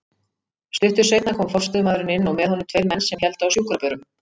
Stuttu seinna kom forstöðumaðurinn inn og með honum tveir menn sem héldu á sjúkrabörum.